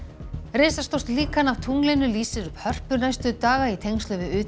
risastórt líkan af tunglinu lýsir upp Hörpu næstu daga í tengslum við